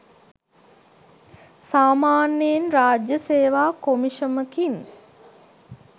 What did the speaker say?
සාමාන්‍යයෙන් රාජ්‍ය සේවා කොමිෂමකින්